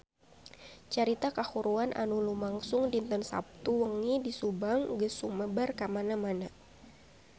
Carita kahuruan anu lumangsung dinten Saptu wengi di Subang geus sumebar kamana-mana